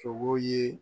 Sogo ye